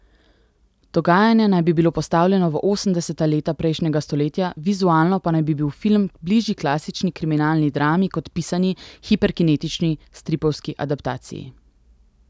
Dogajanje naj bi bilo postavljeno v osemdeseta leta prejšnjega stoletja, vizualno pa naj bi bil film bližji klasični kriminalni drami kot pisani, hiperkinetični stripovski adaptaciji.